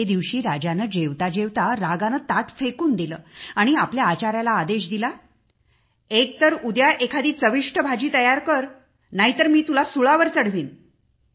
एके दिवशी राजाने जेवता जेवता रागाने ताट फेकून दिले आणि आपल्या आचाऱ्याला आदेश दिला एक तर उद्या एखादी चविष्ट भाजी तयार कर नाहीतर मी तुला फाशी देईन